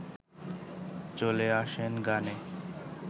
চলে আসেন গানে